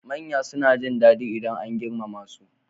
Manya suna jin dadi idan an girmama su.